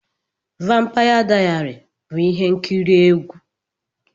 Vampaya Dayari bụ ihe nkiri egwu.